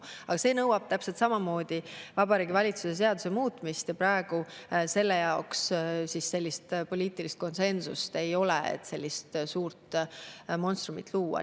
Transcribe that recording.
Aga see nõuab täpselt samamoodi Vabariigi Valitsuse seaduse muutmist ja praegu selle jaoks poliitilist konsensust ei ole, et sellist suurt monstrumit luua.